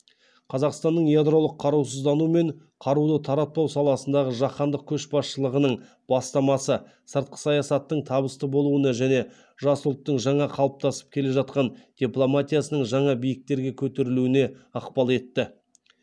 қазақстанның ядролық қарусыздану мен қарулы таратпау саласындағы жаһандық көшбасшылығының бастамасы сыртқы саясаттың табысты болуына және жас ұлттың жаңа қалыптасып келе жатқан дипломатиясының жаңа биіктерге көтерілуіне ықпал етті